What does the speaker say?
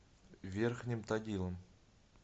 верхним тагилом